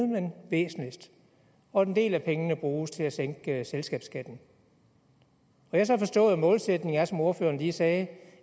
men væsentligst og en del af pengene bruges til at sænke selskabsskatten jeg har så forstået at målsætningen som ordføreren lige sagde